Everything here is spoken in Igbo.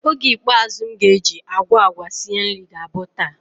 Oge ikpeazu m ga-eji agwa agwa sie nri ga-abụ taa.